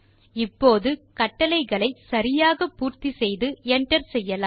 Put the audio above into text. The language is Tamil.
இப்போது கட்டளையை சரியாக பூர்த்தி செய்து என்டர் செய்யலாம்